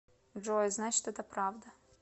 джой значит это правда